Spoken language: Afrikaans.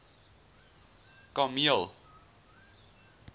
kameel